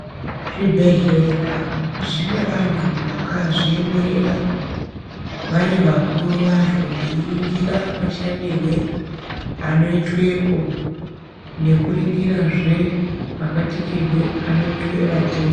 Zvibhehlera zvine vantu vakazviemerera vari vakuru vazvo veiringira mashandirwo anoitwepo nekuringirazve mabatikirwe anoitwe vatenda.